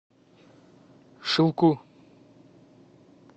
шилку